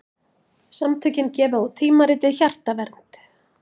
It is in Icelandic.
Samtökin gefa út tímaritið Hjartavernd.